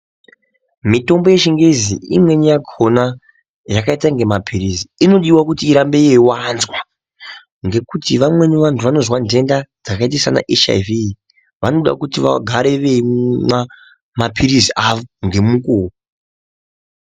Mitombo yechingezi imweni yakhona yakaita inge mapilizi inodiwa kuti irambe yeiwanzwa ngekuti vamweni vantu vanozwa ntenda dzakaita saana HIV vanoda kuti vagare veimwa mapirizi awo ngemukuwo.